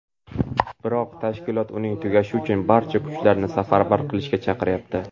Biroq tashkilot uning tugashi uchun barcha kuchlarni safarbar qilishga chaqiryapti.